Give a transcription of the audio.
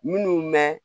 Minnu mɛ